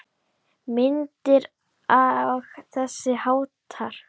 Myndir og þess háttar.